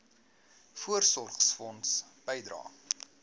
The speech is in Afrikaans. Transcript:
voorsorgfonds bydrae